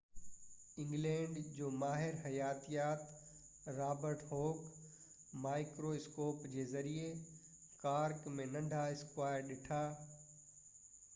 England جو ماهر حياتيات رابرٽ هوڪ مائڪريواسڪوپ جي ذريعي ڪارڪ ۾ ننڍا اسڪوائر ڏٺا